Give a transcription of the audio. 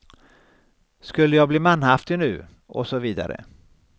Skulle jag bli manhaftig nu, och så vidare.